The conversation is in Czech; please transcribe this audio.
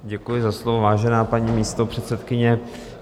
Děkuji za slovo, vážená paní místopředsedkyně.